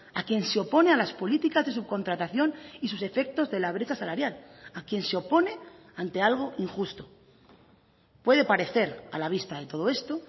a quien se opone a las políticas de subcontratación y sus efectos de la brecha salarial a quien se opone ante algo injusto puede parecer a la vista de todo esto